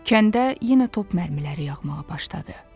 Kəndə yenə top mərmiləri yağmağa başladı.